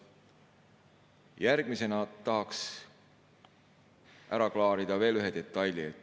Järgmisena tahan ära klaarida ühe detaili.